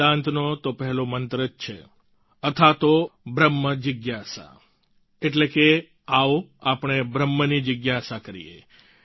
વેદાંતનો તો પહેલો મંત્ર જ છે अथातो ब्रह्म जिज्ञासा એટલે કે આવો આપણે બ્રહ્મની જિજ્ઞાસા કરીએ